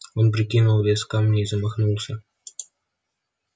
он прикинул вес камня и замахнулся